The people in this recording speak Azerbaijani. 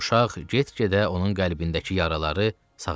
Uşaq get-gedə onun qəlbindəki yaraları sağaltdı.